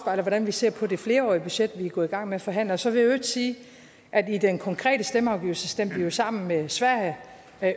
hvordan vi ser på det flerårige budget vi er gået i gang med at forhandle så vil jeg i øvrigt sige at i den konkrete stemmeafgivelse stemte vi jo sammen med sverige